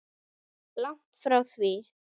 Langt frá því.